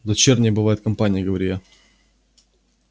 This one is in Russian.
дочерней бывает компания говорю я